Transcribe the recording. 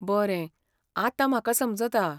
बरें, आतां म्हाका समजता.